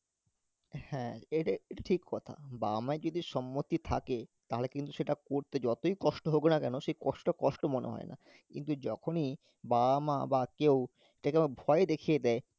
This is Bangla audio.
হ্যাঁ এইটা~ এটা ঠিক কথা বাবা মায়ের যদি সম্মতি থাকে তাহলে কিন্তু সেটা করতে যতই কষ্ট হোক না কেন সেই কষ্ট টা কষ্ট মনে হয় না, কিন্তু যখনই বাবা মা বা কেউ ভয় দেখিয়ে দেয়